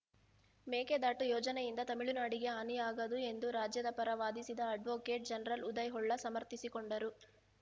ಮೇಕೆದಾಟು ಯೋಜನೆಯಿಂದ ತಮಿಳುನಾಡಿಗೆ ಹಾನಿಯಾಗದು ಎಂದು ರಾಜ್ಯದ ಪರ ವಾದಿಸಿದ ಅಡ್ವೋಕೇಟ್‌ ಜನರಲ್‌ ಉದಯ್‌ ಹೊಳ್ಳ ಸಮರ್ಥಿಸಿಕೊಂಡರು